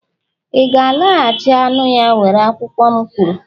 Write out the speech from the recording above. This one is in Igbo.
iga-alaghachi anụ ya were akwụkwọ m kwuru!